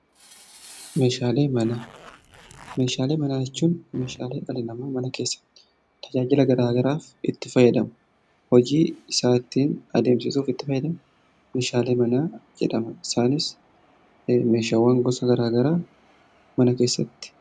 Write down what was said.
Meeshaalee manaa Meeshaalee manaa jechuun meeshaalee dhalli namaa mana keessatti tajaajila garaagaraaf itti fayyadamu, hojii isaa ittiin adeemsisuuf itti fayyadamu, meeshaalee manaa jedhaman. Isaanis, meeshaawwan gosa garaagaraa mana keessatti....